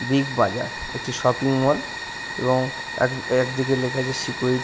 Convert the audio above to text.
big Bazaar একটি shopping mall এবং এক একদিকে লেখা আছে সিকিউরি--